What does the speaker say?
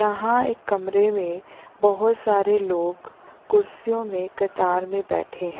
यहाँ एक कमरे में बहुत सारे लोग कुर्सियों में कतार में बैठें हैं।